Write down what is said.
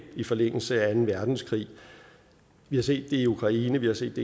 i forlængelse af anden verdenskrig vi har set det i ukraine vi har set